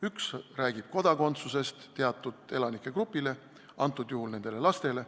Üks räägib kodakondsuse andmisest teatud elanikegrupile, antud juhul nendele lastele.